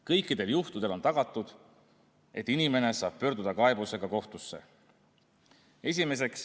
Kõikidel juhtudel on tagatud, et inimene saab pöörduda kaebusega kohtusse.